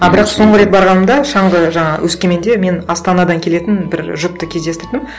а бірақ соңғы рет барғанымда шаңғы жаңағы өскеменде мен астанадан келетін бір жұпты кездестірдім